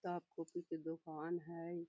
किताब कॉपी के दोकान हेय।